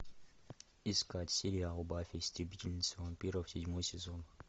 искать сериал баффи истребительница вампиров седьмой сезон